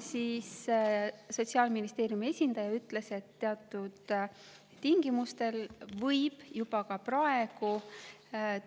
Sotsiaalministeeriumi esindaja ütles, et teatud tingimustel võib juba praegu